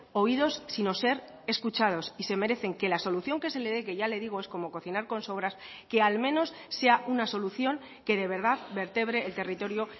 oídos sino ser escuchados y se merecen que la solución que se le dé que ya le digo es como cocinar con sobras que al menos sea una solución que de verdad vertebre el territorio